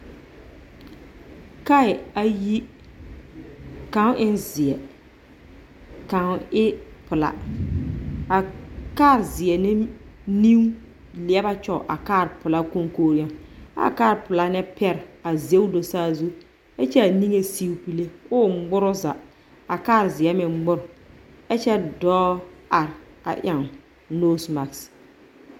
Kaɛ ayi. Kaŋ en zeɛ, ka kaŋ e pelaa. A laa zeɛ na nigleɛba kyɔge a ka pelaa koŋkogi yaŋ, ɛ a kaa pelaa nɛ pɛre a zɛŋ do saa zũ, ɛkyɛ a niŋe sig pule, oo ŋmore o zaa, a kaa zeɛ meŋ ŋmore. Ɛkyɛ dɔɔ are a yaŋ noosi magese.